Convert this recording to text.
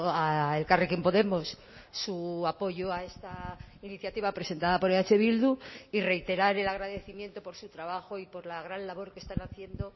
a elkarrekin podemos su apoyo a esta iniciativa presentada por eh bildu y reiterar el agradecimiento por su trabajo y por la gran labor que están haciendo